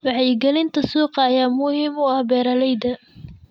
Wacyigelinta suuqa ayaa muhiim u ah beeralayda.